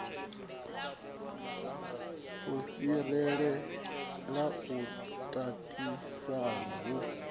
a fhirela u tatisana hu